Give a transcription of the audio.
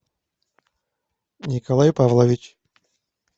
николай павлович